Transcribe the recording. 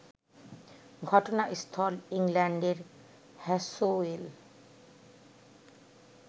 ঘটনাস্থল ইংল্যান্ডের হ্যাসোয়েল